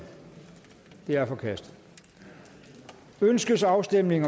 det er forkastet ønskes afstemning